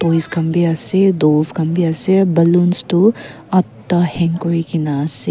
khan bi ase khan bi ase ballons khan toh ahda hang kuri kena ase.